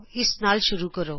ਇਸ ਨਾਲ ਸ਼ੁਰੂ ਕਰੋ